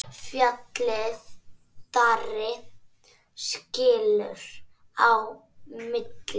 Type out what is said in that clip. Fjallið Darri skilur á milli.